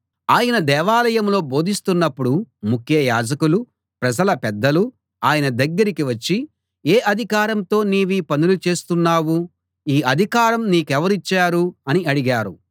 ఆయన దేవాలయంలో బోధిస్తున్నప్పుడు ముఖ్య యాజకులు ప్రజల పెద్దలు ఆయన దగ్గరికి వచ్చి ఏ అధికారంతో నీవీ పనులు చేస్తున్నావు ఈ అధికారం నీకెవరు ఇచ్చారు అని అడిగారు